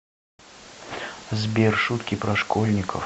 сбер шутки про школьников